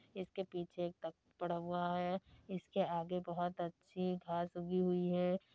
इसके पीछे एक तख्त पड़ा हुआ है इसके आगे बहोत अच्छी घास उगी हुई है |